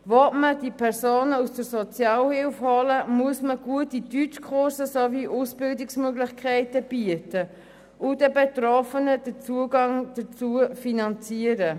Wenn man diese Personen aus der Sozialhilfe holen will, muss man gute Deutschkurse und Ausbildungsmöglichkeiten anbieten und den Betroffenen den Zugang dazu finanzieren.